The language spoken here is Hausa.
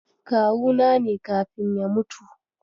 Kawuna ne kafin ya mutu.